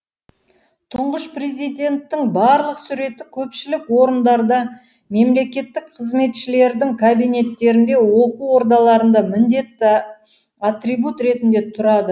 тұңғыш президенттің барлық суреті көпшілік орындарда мемлекеттік қызметшілердің кабинеттерінде оқу ордаларында міндетті атрибут ретінде тұрады